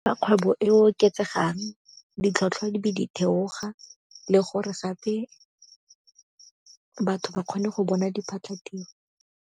Fa kgwebo e oketsegang, ditlhotlhwa di be di theoga le gore gape batho ba kgone go bona diphatlatiro.